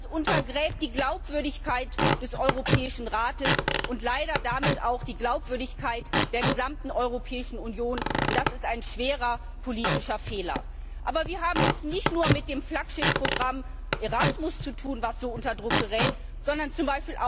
Das untergräbt die Glaubwürdigkeit des Europäischen Rates und leider damit auch die Glaubwürdigkeit der gesamten Europäischen Union. Das ist ein schwerer politischer Fehler! Aber wir haben es nicht nur mit dem Flaggschiffprogramm Erasmus zu tun, das so unter Druck gerät, sondern